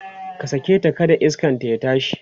ka saketa kada iskanta ya tashi!